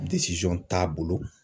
t'a bolo